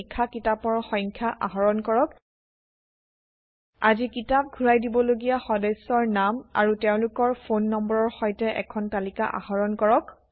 ৩ আজি কিতাপ ঘূৰাই দিবলগীয়া সদস্যৰ নাম আৰু তেওঁলোকৰ ফোন নম্বৰৰ সৈতে এখন তালিকা আহৰণ কৰক